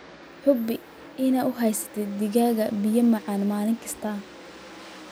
Hubi inaad u haysatid digaagga biyo macaan maalin kasta.